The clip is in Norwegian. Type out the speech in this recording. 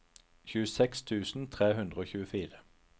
tjueseks tusen tre hundre og tjuefire